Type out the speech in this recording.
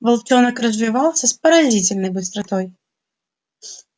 волчонок развивался с поразительной быстротой